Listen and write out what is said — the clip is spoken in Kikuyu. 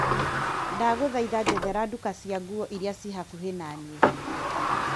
Ndagũthaitha njethera nduka cia nguo iria ciĩ hakuhĩ naniĩ .